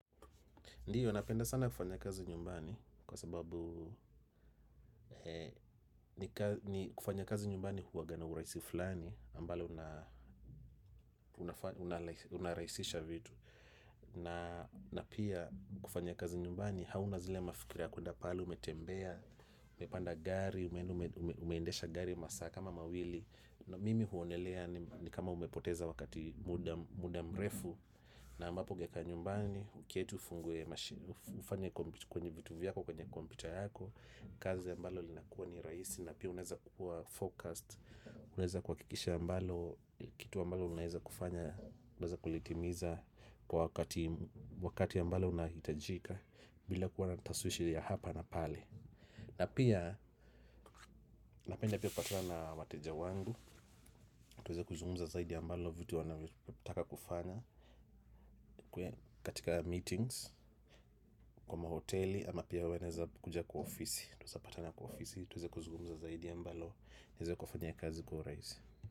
Ndiyo, napenda sana kufanya kazi nyumbani kwa sababu kufanya kazi nyumbani huwaga na urahisi fulani ambalo unarahisisha vitu. Na pia kufanya kazi nyumbani hauna zile mafikiria kwenda pale umetembea, umepanda gari, umeendesha gari masaa kama mawili. Na mimi huonelea ni kama umepoteza wakati muda mrefu na ambapo ungekaa nyumbani uketi ufanye kwenye vitu vyako kwenye kompyuta yako. Kazi ambayo inakuwa ni rahisi na pia unaweza kuwa focused unaweza kuhakikisha ambalo kitu ambacho unaweza kufanya unaweza kulitimiza kwa wakati ambayo unahitajika bila kuwa na tashwishwi ya hapa na pale na pia napenda pia kupatana na wateja wangu tuweze kuzungumza zaidi vitu wanataka kufanya katika meetings kwa mahoteli ama pia wanaweza kuja kwa ofisi, tunawezapatana kwa ofisi tuweze kuzungumza zaidi inaweza ikafanya kazi kuwa rahisi.